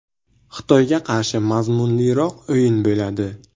Xitoyga qarshi mazmunliroq o‘yin bo‘ladi.